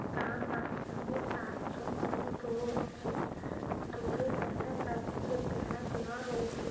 তা মাসখান দিয়ে চার-রজন মেয়ে দৌড়াচ্ছে। দূরে দেখা যাচ্ছে বেড়া দেওয়া রয়েছে ।